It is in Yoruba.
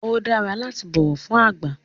Ó dára láti bọ̀wọ̀ fún àgbà